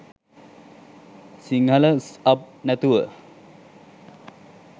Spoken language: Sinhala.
සිංහල ස්අබ් නැතුව